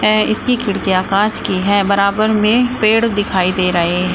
इसकी खिड़कियां कांच की है बराबर में पेड़ दिखाई दे रहे--